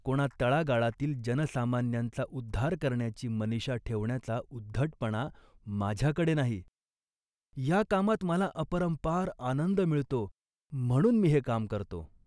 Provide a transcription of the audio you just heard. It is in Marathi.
कोणा तळागाळातील जनसामान्यांचा उद्धार करण्याची मनिषा ठेवण्याचा उद्धटपणा माझ्याकडे नाही. या कामात मला अपरंपार आनंद मिळतो म्हणून मी हे काम करतो